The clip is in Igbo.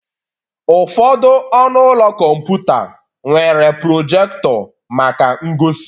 Ụfọdụ ọnụ ụlọ kọmputa nwere projector maka ngosi.